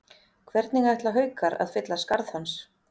Hvernig ætla Haukar að fylla skarð hans?